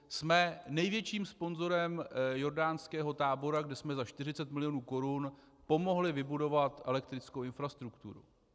Jsme největším sponzorem jordánského tábora, kde jsme za 40 mil. korun pomohli vybudovat elektrickou infrastrukturu.